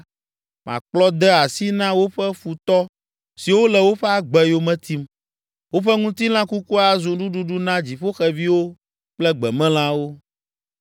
makplɔ de asi na woƒe futɔ siwo le woƒe agbe yome tim. Woƒe ŋutilã kukua azu nuɖuɖu na dziƒoxeviwo kple gbemelãwo.